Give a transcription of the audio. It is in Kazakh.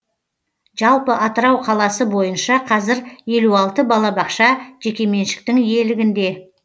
жалпы атырау қаласы бойынша қазір елу алты балабақша жекеменшіктің иелігінде